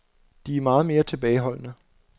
De er meget mere tilbageholdende.